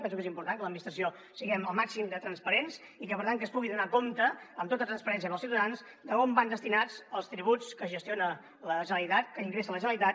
penso que és important que l’administració siguem el màxim de transparents i per tant que es pugui donar compte amb tota transparència per als ciutadans d’on van destinats els tributs que gestiona la generalitat que ingressa la generalitat